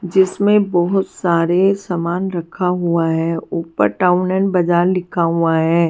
जिसमें बहुत सारे सामान रखा हुआ है ऊपर टाउन एंड बाजार लिखा हुआ है।